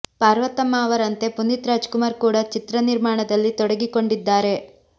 ಪಾರ್ವತಮ್ಮ ಅವರಂತೆ ಪುನೀತ್ ರಾಜ್ ಕುಮಾರ್ ಕೂಡ ಚಿತ್ರ ನಿರ್ಮಾಣದಲ್ಲಿ ತೊಡಗಿಕೊಂಡಿದ್ದಾರೆ